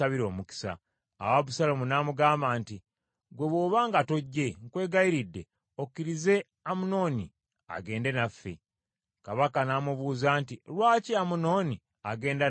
Awo Abusaalomu n’amugamba nti, “Ggwe bw’oba nga tojje, nkwegayiridde okkirize Amunoni agende naffe.” Kabaka n’amubuuza nti, “Lwaki Amunoni agenda nammwe?”